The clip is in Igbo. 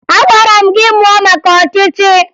Agwara m gị mụo maka ọchịchị!